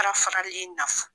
Fara faralen naf